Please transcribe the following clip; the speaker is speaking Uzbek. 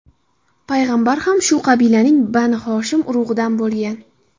payg‘ambar ham shu qabilaning Bani Hoshim urug‘idan bo‘lgan.